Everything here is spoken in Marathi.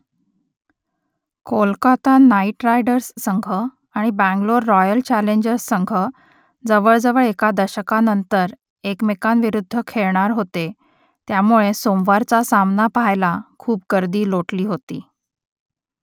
कोलकाता नाईट रायडर्स संघ आणि बंगलोर रॉयल चॅलेंजर्स संघ जवळजवळ एका दशकानंतर एकमेकांविरुद्ध खेळणार होते त्यामुळे सोमवारचा सामना पहायला खूप गर्दी लोटली होती